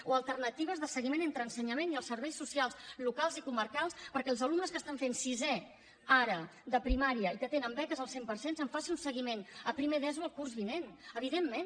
o alternatives de seguiment entre ensenyament i els serveis socials locals i comarcals perquè dels alumnes que estan fent sisè ara de primària i que tenen beques al cent per cent se’n faci un seguiment a primer d’eso el curs vinent evidentment